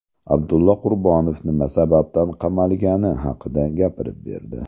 Abdulla Qurbonov nima sababdan qamalgani haqida gapirib berdi.